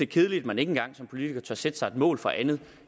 kedeligt at man ikke engang som politiker tør sætte sig et mål for andet